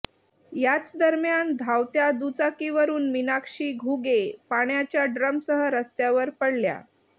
याचदरम्यान धावत्या दुचाकीकरून मीनाक्षी घुगे पाण्याच्या ड्रमसह रस्त्यावर पडल्या